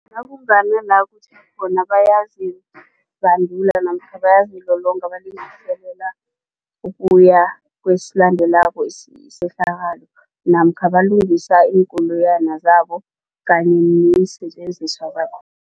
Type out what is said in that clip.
Nakunganala kutjha khona bayazibandula namkha bayazilolonga balungiselela ukuya kwesilandelako isehlakalo namkha balungisa iinkoloyana zabo kanye neensetjenziswa